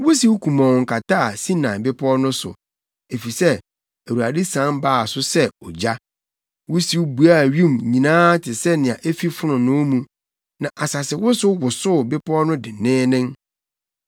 Wusiw kumɔnn kataa Sinai Bepɔw no so, efisɛ Awurade sian baa so sɛ ogya. Wusiw buaa wim nyinaa te sɛ nea efi fononoo mu, na asasewosow wosoo bepɔw no denneennen.